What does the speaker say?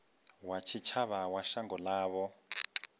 wa tshitshavha wa shango ḽavho